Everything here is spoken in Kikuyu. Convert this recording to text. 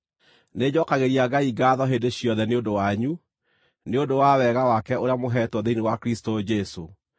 Nĩnjookagĩria Ngai ngaatho hĩndĩ ciothe nĩ ũndũ wanyu, nĩ ũndũ wa wega wake ũrĩa mũheetwo thĩinĩ wa Kristũ Jesũ.